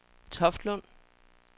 Toftlund